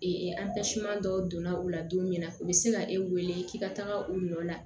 dɔw donna u la don min na u bɛ se ka e wele k'i ka taga u nɔ la